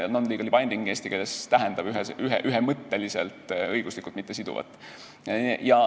Non-legally binding tähendab eesti keeles ühemõtteliselt õiguslikult mittesiduvat.